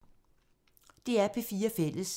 DR P4 Fælles